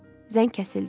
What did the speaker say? Zəng kəsildi.